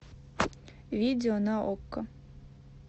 видео на окко